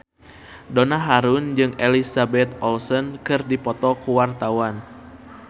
Donna Harun jeung Elizabeth Olsen keur dipoto ku wartawan